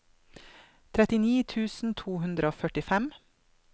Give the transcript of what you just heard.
trettini tusen to hundre og førtifem